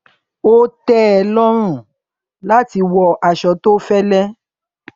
ó tẹ ẹ lọrùn láti wọ aṣọ tó fẹlẹ